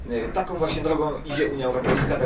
Taką właśnie drogą idzie Unia Europejska.